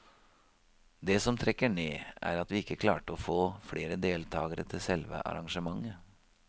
Det som trekker ned er at vi ikke klarte å få flere deltakere til selve arrangementet.